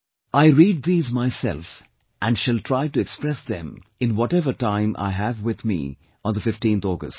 I read these myself and shall try to express them in whatever time I have with me on 15th August